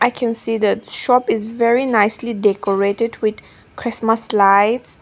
we can see the shop is very nicely decorated with christmas lights.